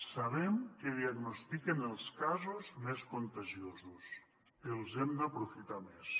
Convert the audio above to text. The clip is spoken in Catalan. sabem que diagnostiquen els casos més contagiosos els hem d’aprofitar més